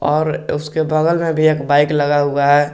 और उसके बगल में भी एक बाइक लगा हुआ है।